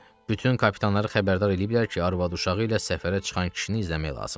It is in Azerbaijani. Bütün kapitanları xəbərdar eləyiblər ki, arvad-uşağı ilə səfərə çıxan kişini izləmək lazımdır.